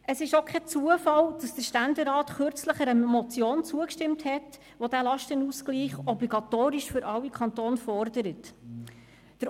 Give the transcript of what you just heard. Es ist auch kein Zufall, dass der Ständerat kürzlich einer Motion zugestimmt hat, welche diesen Lastenausgleich für alle Kantone obligatorisch fordert.